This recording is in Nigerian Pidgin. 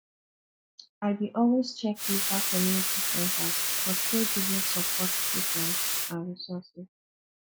i dey always check local community centers for caregiving support programs and resources